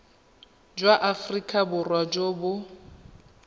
jwa aforika borwa jo bo